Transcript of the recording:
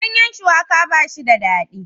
Ganyen shuwaka ba shi da daɗi